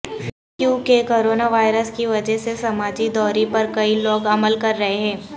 کیونکہ corona virus کی وجہہ سے سماجی دوری پر کئی لوگ عمل کررہے ہیں